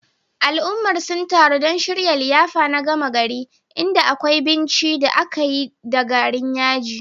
Al'ummar sun taru don shirya liyafa na gama gari, inda akwai binci da aka yi da garin yaji.